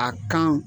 A kan